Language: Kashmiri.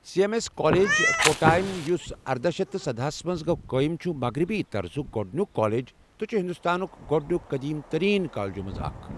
C M S college, Kottayam, یُس ارداہ شیتھ تہٕ سداہ ہَس منٛز گوٚو قٲیِم چھُ مغربی طرزُک گۄڈٕنیُک کالج تہٕ چھُ ہندوستانٕک گۄڈٕنیُک قٔدیٖم تریٖن کالجَو منٛز اکھ ۔